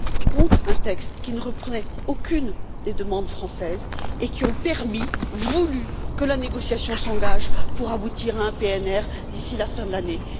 contre un texte qui ne reprenait aucune des demandes françaises, et qui ont permis et voulu que la négociation s'engage afin d'aboutir à un PNR d'ici la fin de l'année.